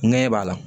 Ŋɛɲɛ b'a la